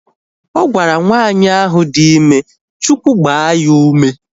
Ọ gwara nwaanyị ahu dị ime Chukwu gbaa ya ume